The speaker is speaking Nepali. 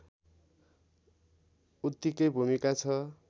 उत्तिकै भूमिका छ